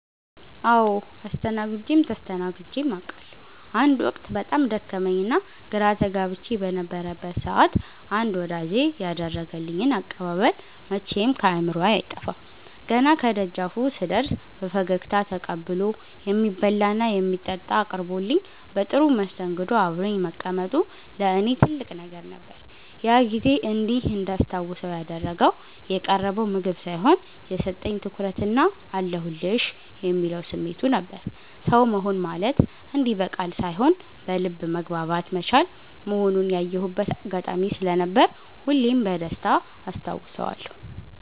አዎ አስተናግጀም ተስተናግጀም አቃለሁ። አንድ ወቅት በጣም ደክሞኝና ግራ ተጋብቼ በነበረበት ሰዓት አንድ ወዳጄ ያደረገልኝ አቀባበል መቼም ከአእምሮዬ አይጠፋም። ገና ከደጃፉ ስደርስ በፈገግታ ተቀብሎ፣ የሚበላና የሚጠጣ አቅርቦልኝ በጥሩ መስተንግዶ አብሮኝ መቀመጡ ለእኔ ትልቅ ነገር ነበር። ያ ጊዜ እንዲህ እንዳስታውሰው ያደረገው የቀረበው ምግብ ሳይሆን፣ የሰጠኝ ትኩረትና "አለሁልሽ" የሚለው ስሜቱ ነበር። ሰው መሆን ማለት እንዲህ በቃል ሳይሆን በልብ መግባባት መቻል መሆኑን ያየሁበት አጋጣሚ ስለነበር ሁሌም በደስታ አስታውሰዋለሁ።